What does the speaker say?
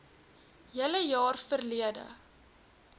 hele jaar verlede